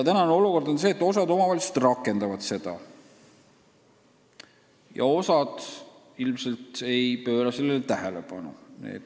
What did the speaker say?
Praegune olukord on selline, et osa omavalitsusi rakendab seda ja osa ilmselt ei pööra sellele tähelepanu.